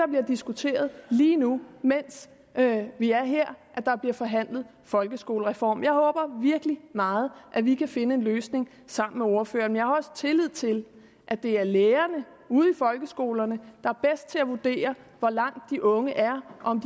diskuteret lige nu mens vi er her der bliver forhandlet folkeskolereform jeg håber virkelig meget at vi kan finde en løsning sammen med ordføreren men jeg har også tillid til at det er lærerne ude i folkeskolerne der er bedst til at vurdere hvor langt de unge er og om